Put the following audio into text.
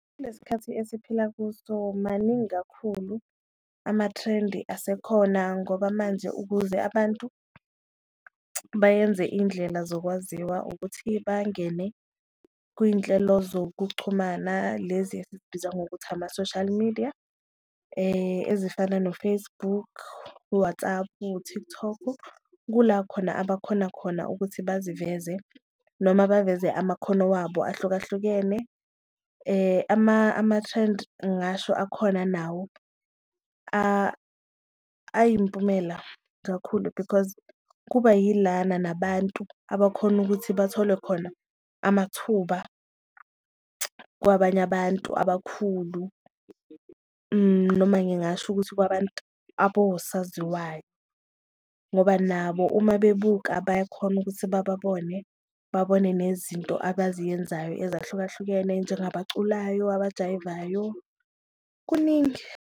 Kule sikhathi esiphila kuso maningi kakhulu amathrendi asekhona ngoba manje ukuze abantu bayenze indlela zokwaziwa ukuthi bangene kuyinhlelo zokuxhumana lezi ezibizwa ngokuthi ama-social media ezifana no-Facebook u-WhatsApp, u-TikTok. Kula khona abakhona khona ukuthi baziveze noma baveze amakhono wabo ahlukahlukene, amathrendi ngasho akhona nawo ayimpumela kakhulu because kuba yilana nabantu abakhona ukuthi bathole khona amathuba kwabanye abantu abakhulu. Noma ngingasho ukuthi kwabantu abowosaziwayo ngoba nabo uma bebuka bayakhona ukuthi babone babone nezinto abaziyenzayo ezahlukahlukene njengabaculayo, abajayivayo kuningi.